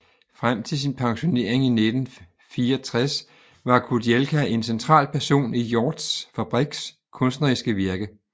Frem til sin pensionering 1964 var Kudielka en central person i Hjorths Fabriks kunstneriske virke